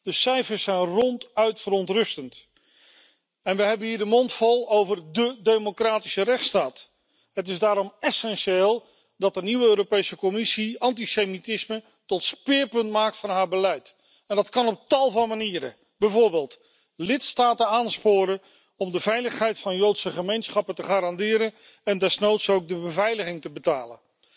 De cijfers zijn ronduit verontrustend en we hebben hier de mond vol over dé democratische rechtsstaat. Het is daarom essentieel dat de nieuwe Europese Commissie antisemitisme tot speerpunt maakt van haar beleid. Dat kan op tal van manieren, bijvoorbeeld lidstaten aansporen om de veiligheid van Joodse gemeenschappen te garanderen en desnoods ook de beveiliging te betalen